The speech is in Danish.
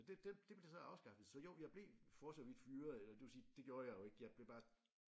Men det den det blev så afskaffet så jo jeg blev for så vidt fyret eller det vil sige det gjorde jeg jo ikke jeg blev bare